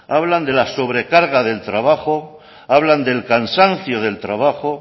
hablan de la sobrecarga del trabajo hablan del cansancio del trabajo